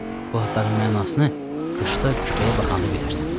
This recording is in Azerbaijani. Bu adların mənasını qışda küpəyə baxanda bilərsən.